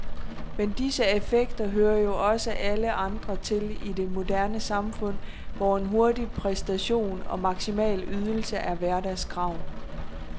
Men disse affekter hører jo også alle andre til i det moderne samfund, hvor en hurtig præstation og maksimal ydelse er hverdagskrav.